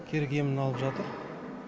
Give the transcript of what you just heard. керек емін алып жатыр